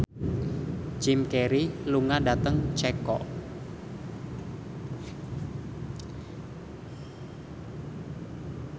Jim Carey lunga dhateng Ceko